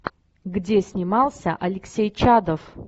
где снимался алексей чадов